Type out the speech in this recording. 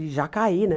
E já caí, né?